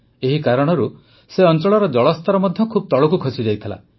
ଏହି କାରଣରୁ ସେ ଅଂଚଳର ଜଳସ୍ତର ମଧ୍ୟ ଖୁବ ତଳକୁ ଖସିଯାଇଥିଲା